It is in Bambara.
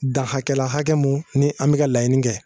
Da hakɛ la hakɛ mun ni an bɛ ka laɲini kɛ